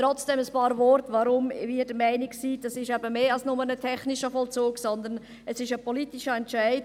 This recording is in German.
Trotzdem ein paar Worte dazu, weshalb wir der Meinung sind, das sei eben mehr als bloss ein technischer Vollzug, sondern es sei ein politischer Entscheid.